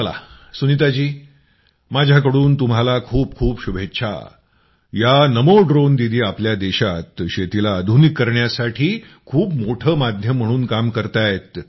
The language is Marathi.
चला सुनीताजी माझ्याकडून तुम्हाला खूप खूप शुभेच्छा या नमो ड्रोन दीदी आपल्या देशात शेतीला आधुनिक करण्यासाठी खूप मोठं माध्यम म्हणून काम करतायत